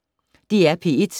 DR P1